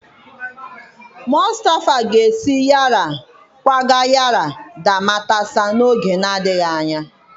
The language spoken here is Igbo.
Mustafa ga-esi Yara kwaga Yara da Matasa n'oge na-adịghị anya